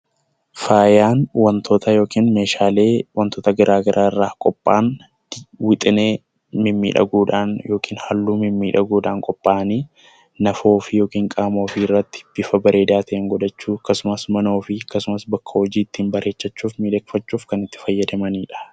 Faayaan wantoota yookiin meeshaalee garaagaraa irraa qophaayan wixinee mimmiidhagoodhaan yookaan halluu mimmiidhagoodhaan qophaa'anii naaf ofii yookiin qaama ofii irratti bifa bareedaa ta'een godhachuu akkasuma mana ofii bakka hojiittin ittiin bareechachuufb miidhagfachuuf kan itti fayyadamanidha.